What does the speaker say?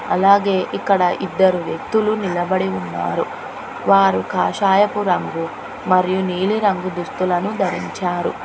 అలాగే ఇక్కడ ఇద్దరు వ్యక్తులు నిలబడి ఉన్నారు వారు కాషాయపు రంగు మరియు నీలి రంగు దుస్తులను ధరించారు.